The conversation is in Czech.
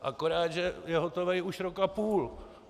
Akorát, že je hotovej už rok a půl!